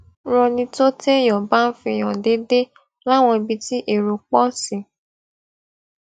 ranni tó téèyàn bá ń fi hàn déédéé láwọn ibi tí èrò pò sí